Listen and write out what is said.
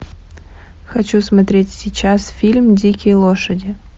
хочу смотреть сейчас фильм дикие лошади